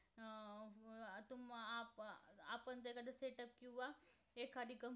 एखादी कं~